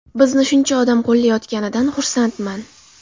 Bizni shuncha odam qo‘llayotganidan xursandman.